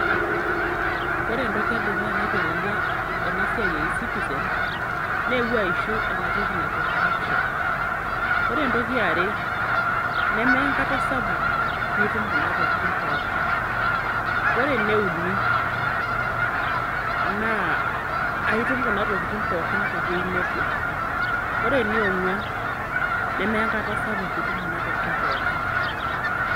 Wore entoki edukuya naitelelia ena siai e ecitizen, neewuo aishu ena siai najo corruption. Wore entoki eare, nemeya enkata sapuk piitum kuna tokitin pookin. Wore ene uni, naa aitum kuna tokitin pookin tewoji nebo. Wore ene ongwan, nemeya enkata sapuk piitum kuna tokitin pookin.